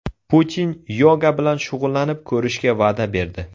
Putin yoga bilan shug‘ullanib ko‘rishga va’da berdi.